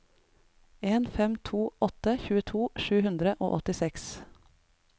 en fem to åtte tjueto sju hundre og åttiseks